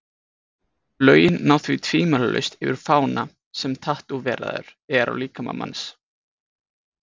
Lögin ná því tvímælalaust yfir fána sem tattóveraður er á líkama manns.